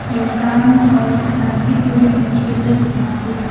ये शांत और शांतिपूर्ण दृश्य लग रहा है।